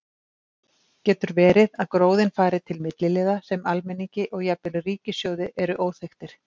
Getur verið að gróðinn fari til milliliða sem almenningi og jafnvel ríkissjóði eru óþekktir?